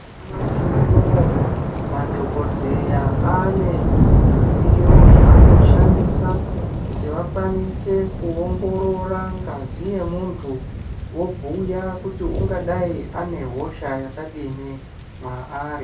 Nyamashi unowu madhokodheya ane midziyo zvinoshandisa kuti vakwanise kuongorora ngazi yemuntu vobhuya ungadai nehosha yakadini maarri.